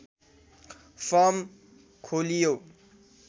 form खोलियो